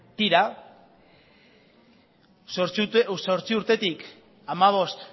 tira zortzi urtetik hamabost